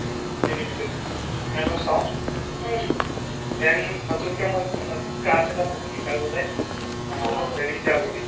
animated সিহতক চাও then নতুন কে মই class এটা পাইছো guitar বজাই আ